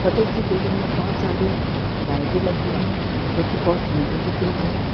बगल की बिल्डिंग मे बहोत सारी लाइटें लगी हुई है जो की बहोत सुंदर दिख रही हैं।